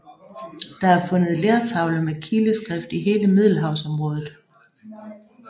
Der er fundet lertavler med kileskrift i hele middelhavsområdet